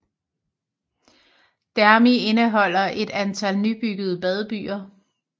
Dhermi indeholder et antal nybyggede badebyer